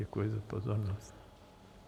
Děkuji za pozornost.